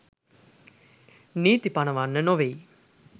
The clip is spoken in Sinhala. නීතී පනවන්න නොවෙයි.